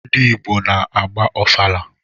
Ndị Igbo na-agba ọfala